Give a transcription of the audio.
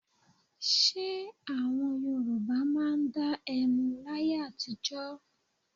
Ṣé àwọn Yorùbá máa dá ẹmu láyé àtijọ́?